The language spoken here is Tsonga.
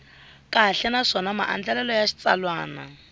kahle naswona maandlalelo ya xitsalwana